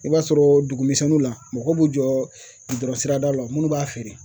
I b'a sɔrɔ dugu misɛnninw la, mɔgɔ b'u jɔ gidɔrɔn sirada la munnu b'a feere